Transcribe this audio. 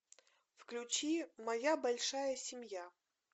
включи моя большая семья